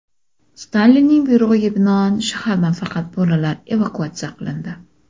Stalinning buyrug‘iga binoan, shahardan faqat bolalar evakuatsiya qilindi.